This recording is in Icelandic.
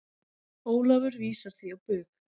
Ólafur vísar því á bug.